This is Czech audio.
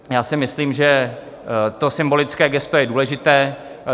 Já si myslím, že to symbolické gesto je důležité.